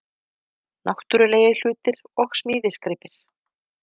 Náttúrulegir hlutir og smíðisgripir